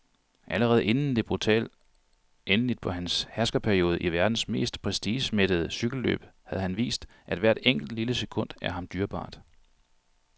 Allerede inden det brutale endeligt på hans herskerperiode i verdens mest prestigemættede cykelløb havde han vist, at hvert enkelt, lille sekund er ham dyrebart.